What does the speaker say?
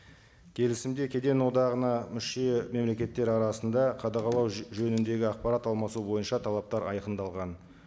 келісімде кеден одағына мүше мемлекеттер арасында қадағалау жөніндегі ақпарат алмасу бойынша талаптар айқындалған